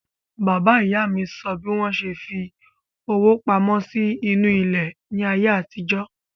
Bàbá ìyá mi sọ bí wọ́n ṣe fi owó pamọ́ sí inú ilẹ̀ ní àyè àtijọ́